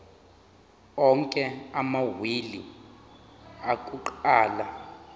onke amawili akuqala